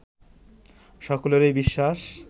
সকলেরই বিশ্বাস